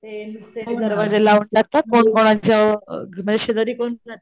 ते नुसते दरवाजे लावून टाकतात कोण कोणाच्या शेजारी कोण राहतंय,